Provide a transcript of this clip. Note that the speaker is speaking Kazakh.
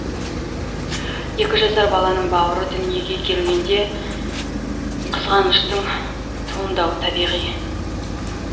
екі жасар баланың бауыры дүниеге келгенде қызғаныштың туындауы табиғи